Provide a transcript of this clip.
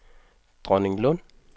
Dronninglund